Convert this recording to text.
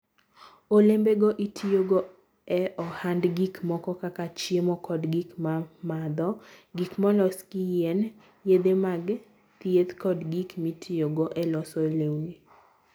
Olembego itiyogo e ohand gik moko kaka, chiemo kod gik mimadho, gik molos gi yien, yedhe mag thieth, kod gik mitiyogo e loso lewni.